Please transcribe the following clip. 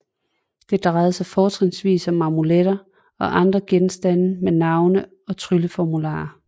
Det drejer sig fortrinsvis om amuletter og andre genstande med navne og trylleformularer